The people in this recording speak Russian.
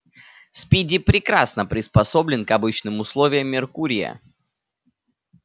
спиди прекрасно приспособлен к обычным условиям меркурия